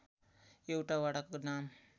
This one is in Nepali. एउटा वडाको नाम